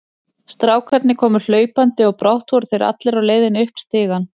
Strákarnir komu hlaupandi og brátt voru þeir allir á leiðinni upp stigann.